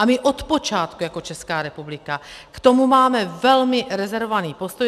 A my od počátku jako Česká republika k tomu máme velmi rezervovaný postoj.